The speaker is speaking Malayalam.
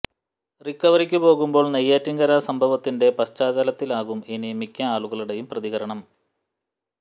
റിക്കവറിക്ക് പോകുമ്പോൾ നെയ്യാറ്റിൻകര സംഭവത്തിന്റെ പശ്ചാത്തലത്തിലാകും ഇനി മിക്ക ആളുകളുടെയും പ്രതികരണം